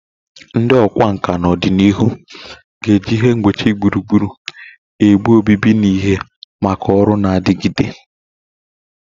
Ndị ọkwá nkà na ọdịnihu ga-eji ihe ngbochi gburugburu ebe obibi na ihe maka ọrụ na-adigide.